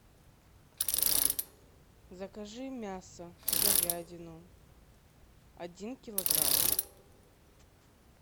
закажи мясо говядину один килограмм